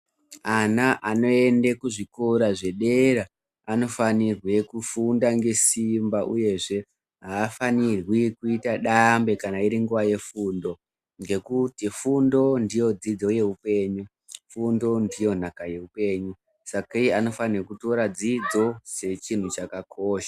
Ana anoende kuzvikora zvedera anofanirwe kufunda ngesimba uyezve aafanirwi kuite dambe kana iri nguwa yefundo ngekuti fundo ndiyo dzidzo yeiupenyu fundo ndiyo nhaka yeupenyu saka iwo anofane kutora dzidzo sechinhu chakakosha.